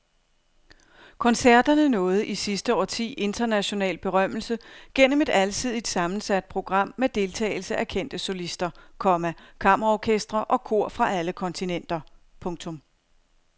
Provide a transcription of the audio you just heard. Koncerterne nåede i sidste årti international berømmelse gennem et alsidigt sammensat program med deltagelse af kendte solister, komma kammerorkestre og kor fra alle kontinenter. punktum